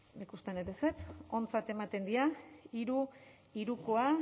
ba ikusten dut ezetz ontzat ematen dira hiru hirukoa